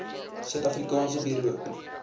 suid afrikaanse buro